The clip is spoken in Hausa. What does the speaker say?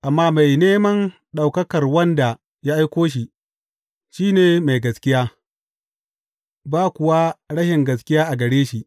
Amma mai neman ɗaukakar wanda ya aiko shi, shi ne mai gaskiya, ba kuwa rashin gaskiya a gare shi.